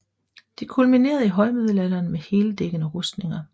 Det kulminerede i højmiddelalderen med heldækkende rustninger